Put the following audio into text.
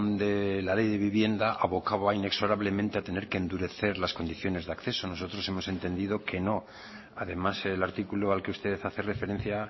de la ley de vivienda abocaba inexorablemente a tener que endurecer las condiciones de acceso nosotros hemos entendido que no además el artículo al que usted hace referencia